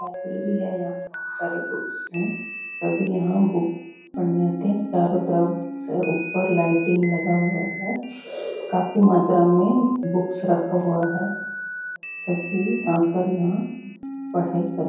library है यहाँ बहुत सारे बुक्स है सभी यहाँ बुक पढ़ने आते है चारो तरफ से उपर लाइटिंग लगा हुआ है काफी मात्रा में बुक्स रखा हुआ है सभी आकर यहाँ पढाई कर--